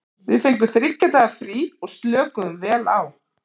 Við fengum þriggja daga frí og slökuðum vel á.